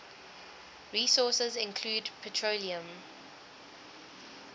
resources include petroleum